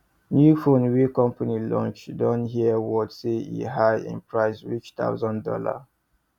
new phone wey company launch don hear word say e high in price reach thousand dollar